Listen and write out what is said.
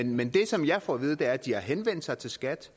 men det som jeg får at vide er at de har henvendt sig til skat